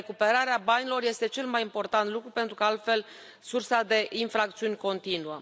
Recuperarea banilor este cel mai important lucru, pentru că, altfel, sursa de infracțiuni continuă.